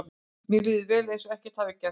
Mér líður vel, eins og ekkert hafi gerst.